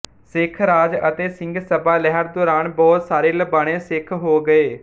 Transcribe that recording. ਸਿੱਖ ਰਾਜ ਅਤੇ ਸਿੰਘ ਸਭਾ ਲਹਿਰ ਦੌਰਾਨ ਬਹੁਤ ਸਾਰੇ ਲਬਾਣੇ ਸਿੱਖ ਹੋ ਗਏ